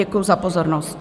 Děkuji za pozornost.